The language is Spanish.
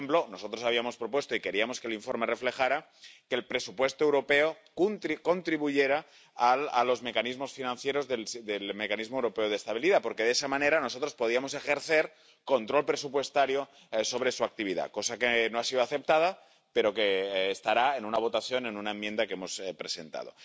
Por ejemplo, nosotros habíamos propuesto y queríamos que el informe reflejara que el presupuesto europeo contribuyera a los mecanismos financieros del Mecanismo Europeo de Estabilidad, porque de esa manera nosotros podíamos ejercer control presupuestario sobre su actividad, cosa que no ha sido aceptada, pero que estará en la votación en una enmienda que hemos presentado.